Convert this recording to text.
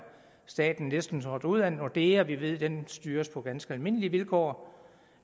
staten næsten trådt ud af nordea vi ved at den styres på ganske almindelige vilkår